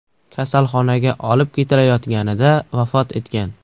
kasalxonaga olib ketilayotganida vafot etgan.